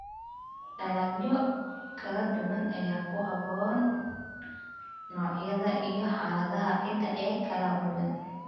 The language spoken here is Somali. Dalagyo kala duwan ayaa ku habboon noocyada iyo xaaladaha ciidda ee kala duwan.